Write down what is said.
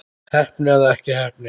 Heppni eða ekki heppni?